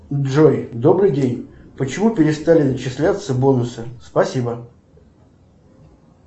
джой добрый день почему перестали начисляться бонусы спасибо